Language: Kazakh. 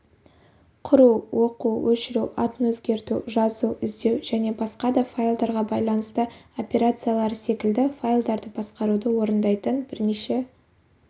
құру оқу өшіру атын өзгерту жазу іздеу және басқа да файлдарға байланысты операциялары секілді файлдарды басқаруды орындайтын бірнеше